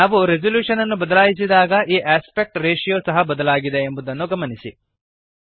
ನಾವು ರೆಸಲ್ಯೂಶನ್ ಅನ್ನು ಬದಲಾಯಿಸಿದಾಗ ಈ ಆಸ್ಪೆಕ್ಟ್ ರೇಶಿಯೋ ಸಹ ಬದಲಾಗಿದೆ ಎಂಬುದನ್ನು ಗಮನಿಸಿರಿ